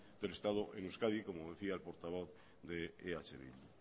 del estado en euskadi como decía el portavoz de eh bildu